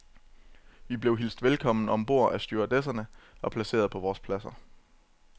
Vi blev alle hilst velkommen om bord af stewardesserne og placeret på vores pladser.